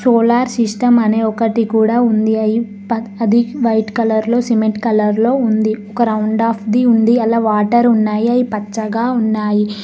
Solar system అనే ఒకటి కూడా ఉంది అయి అది వైట్ కలర్ లో సిమెంట్ కలర్ లో ఉంది ఒక రౌండ్ ఆఫ్ ది ఉంది అలా వాటర్ ఉన్నాయి అవి పచ్చగా ఉన్నాయి.